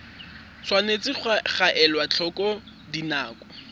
tshwanetse ga elwa tlhoko dinako